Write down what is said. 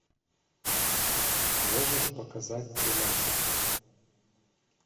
можешь показать тринадцать